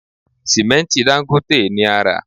Sìmẹ́ǹtì Dangote ni a rà